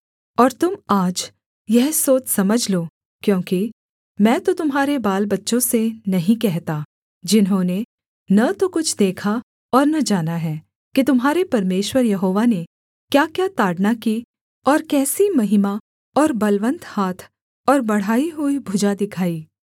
और तुम आज यह सोच समझ लो क्योंकि मैं तो तुम्हारे बालबच्चों से नहीं कहता जिन्होंने न तो कुछ देखा और न जाना है कि तुम्हारे परमेश्वर यहोवा ने क्याक्या ताड़ना की और कैसी महिमा और बलवन्त हाथ और बढ़ाई हुई भुजा दिखाई